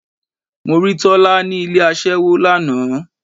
Mo rí Tọ́lá ni ilé aṣẹ́wó lánàá.